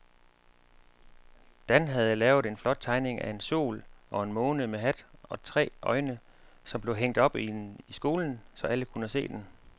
Dan havde lavet en flot tegning af en sol og en måne med hat og tre øjne, som blev hængt op i skolen, så alle kunne se den.